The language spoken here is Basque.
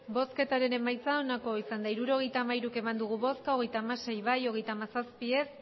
hirurogeita hamairu eman dugu bozka hogeita hamasei bai hogeita hamazazpi ez